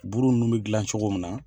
Buru ninnu bɛ gilan cogo min na.